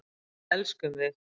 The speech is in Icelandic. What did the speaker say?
Við elskum þig.